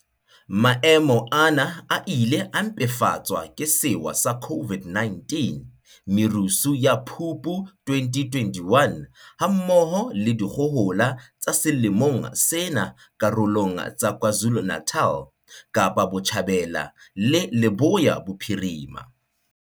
Maemo ana a ile a mpefatswa ke sewa sa COVID-19, merusu ya Phupu 2021, ha mmoho le dikgohola tsa selemong sena karolong tsa KwaZulu-Natal, Kapa Botjhabela le Leboya Bophirima.